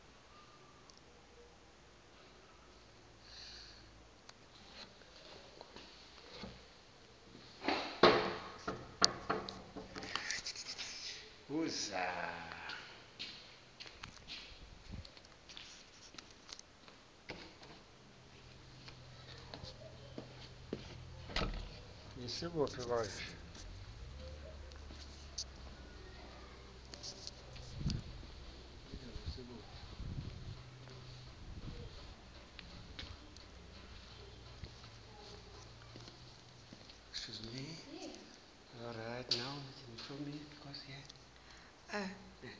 zingaqokwa njengeziphathimandla ezengamele